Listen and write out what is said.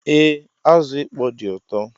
Ee, azụ ịkpọ dị ụtọ